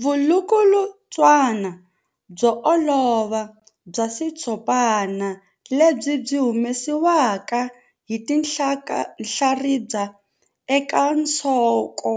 Vulukulutswana byo olova bya xitshopana lebyi byi humesiwaka hi tinhlaribya eka nsoko